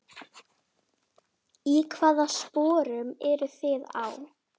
Í hvaða sporum eruð þið þá?